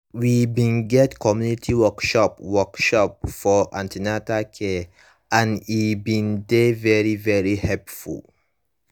we bin get community workshop workshop for an ten atal care and e bin dey very very helpful